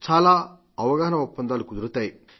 చాలా అవగాహన ఒప్పందాలు కుదురుతాయి